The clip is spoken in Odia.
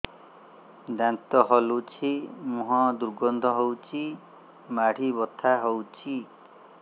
ଦାନ୍ତ ହଲୁଛି ମୁହଁ ଦୁର୍ଗନ୍ଧ ହଉଚି ମାଢି ବଥା ହଉଚି